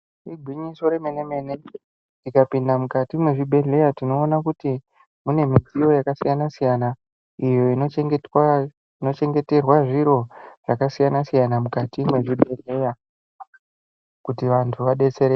Igwinyiso remene mene tikapinda mukati mwezvibhedhleya tinoona kuti mune midziyo yakasiyana siyana iyo inochengeterwa zviro zvakasiyana siyana mukati mwezvibhedhleya kuti vantu vadetsereke.